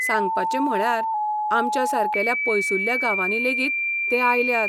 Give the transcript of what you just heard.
सांगपाचें म्हळ्यार, आमच्या सारकेल्या पयसुल्ल्या गांवांनी लेगीत ते आयल्यात.